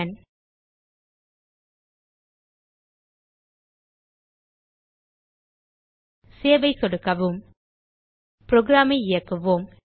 save ஐ சொடுக்கவும் program ஐ இயக்குவோம்